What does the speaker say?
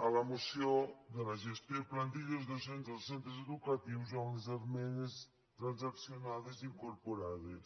de la moció sobre la gestió de plantilles docents dels centres educatius amb les esmenes trans·accionades incorporades